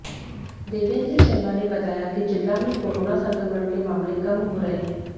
देवेंद्र शर्मा ने बताया कि जिला में कोरोना संक्रमण के मामले कम हो रहे हैं